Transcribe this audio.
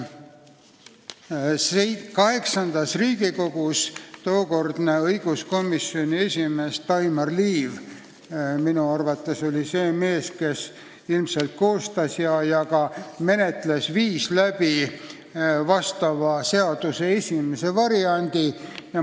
VIII Riigikogu tookordne õiguskomisjoni esimees Daimar Liiv oli minu arvates see mees, kes ilmselt koostas vastava seaduse esimese variandi ja ka menetles seda.